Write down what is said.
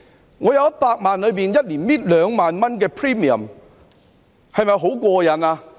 如果我有100萬元，一年只拿出2萬元的 premium 是否很過癮呢？